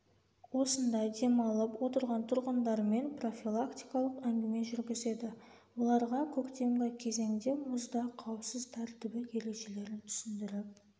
осында демалып отырған тұрғындармен профилактикалық әңгіме жүргізеді оларға көктемгі кезеңде мұзда қауіпсіз тәртібі ережелерін түсіндіріп